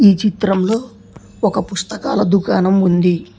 ఈ చిత్రంలో ఒక పుస్తకాల దుకాణం ఉంది.